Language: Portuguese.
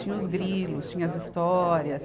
Tinha os grilos, tinha as histórias.